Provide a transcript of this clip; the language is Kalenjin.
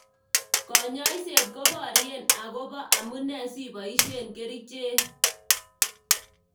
Kanyoiset koborye akobo amune siboishe kerichek.